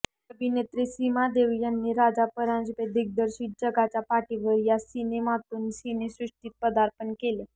अभिनेत्री सीमा देव यांनी राजा परांजपे दिग्दर्शित जगाच्या पाठीवर या सिनेमातून सिनेसृष्टीत पदार्पण केलं